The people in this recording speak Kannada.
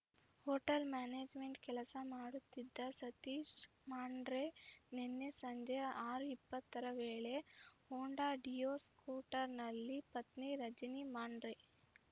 ಹೊಟೇಲ್‌ ಮ್ಯಾನೇಜ್‌ಮೆಂಟ್ ಕೆಲಸ ಮಾಡುತ್ತಿದ್ದ ಸತೀಶ್ ಮಾಂಡ್ರೆ ನಿನ್ನೆ ಸಂಜೆ ಆರು ಇಪ್ಪತ್ತರ ವೇಳೆ ಹೊಂಡಾ ಡಿಯೋ ಸ್ಕೂಟರ್‌ನಲ್ಲಿ ಪತ್ನಿ ರಜಿನಿ ಮಾಂಡ್ರೆ